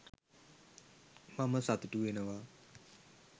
මම සතුටු වෙනවා